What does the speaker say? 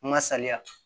N ka saliya